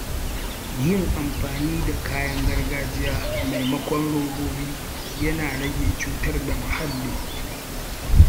Yin amfani da kayan gargajiya maimakon robobi yana rage cutar da muhalli.